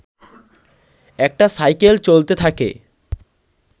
একটা সাইকেল চলতে থাকে